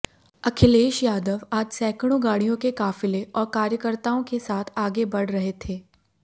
अखिलेश यादव आज सैकड़ों गाडिय़ों के काफिले और कार्यकर्ताओं के साथ आगे बढ़ रहे थे